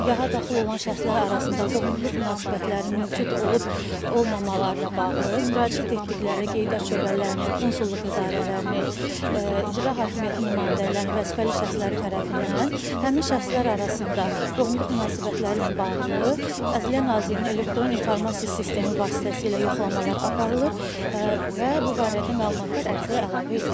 Nikaha daxil olan şəxslər arasında qohumluq münasibətlərinin mövcud olub olmamalarına bağlı, müraciət etdikləri qeydiyyat şöbələrinin, konsulluq idarələrinin, icra hakimiyyəti nümayəndələrinin, vəzifəli şəxsləri tərəfindən həmin şəxslər arasında qohumluq münasibətləri ilə bağlı Ədliyyə Nazirliyinin elektron informasiya sistemi vasitəsilə yoxlamalar aparılır və bu barədə məlumatlar ərizəyə əlavə edilir.